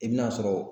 I bi n'a sɔrɔ